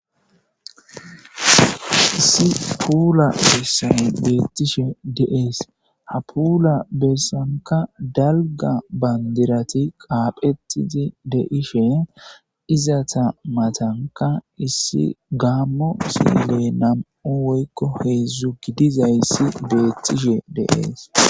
issi puula bessay beettishe deees ha puula bersanka dalga bandirati qaaphetidi deishe izata matanka issi gaammo siley nam7u woykko heedzdzu gidizayssi beettishe de7ees